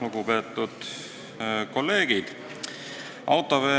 Lugupeetud kolleegid!